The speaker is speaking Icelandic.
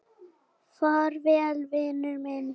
Far vel, vinur minn.